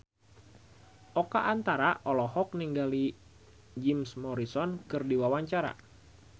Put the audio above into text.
Oka Antara olohok ningali Jim Morrison keur diwawancara